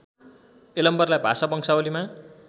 यलम्बरलाई भाषा वंशावलीमा